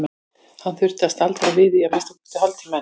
Hann þyrfti að staldra við í að minnsta kosti hálftíma enn.